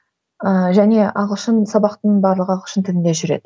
ыыы және ағылшын сабақтың барлығы ағылшын тілінде жүреді